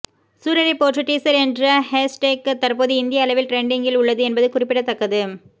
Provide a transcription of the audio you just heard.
Soorarai Pottru teaser என்ற hashtag தற்போது இந்திய அளவில் ட்ரெண்டிங்கில் உள்ளது என்பது குறிப்பிடத்தக்கது